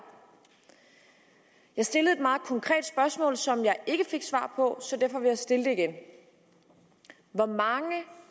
jeg stillede et meget konkret spørgsmål som jeg ikke fik svar på så derfor vil jeg stille det igen hvor mange